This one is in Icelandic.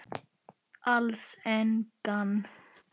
Alls engan.